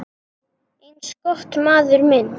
Eins gott, maður minn